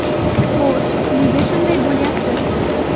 Xo‘sh, nega shunday bo‘lyapti?